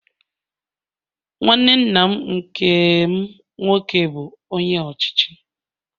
Nwanne nna m nkem nwoke bụ Onye Ọchịchị